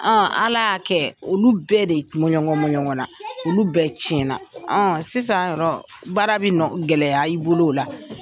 Ala y'a kɛ olu bɛɛ de mɔɲɔŋɔn mɔɲɔŋɔn na, olu bɛɛ tiyɛn na sisan baara bɛ gɛlɛya i bolo o la.